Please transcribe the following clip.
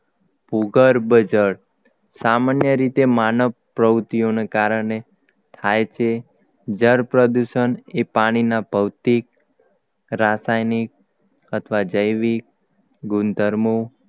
ભૂગર્ભજળ સામાન્ય રીતે માનવ પ્રવૃત્તિઓને કારણે થાય છે જળ પ્રદૂષણ એ પાણીના ભૌતિક રાસાયણિક અથવા જૈવિક ગુણધર્મો